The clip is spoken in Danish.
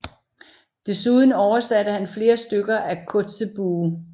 Desuden oversatte han flere stykker af Kotzebue